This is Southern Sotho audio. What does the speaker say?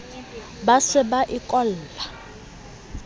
ba se ba e kolla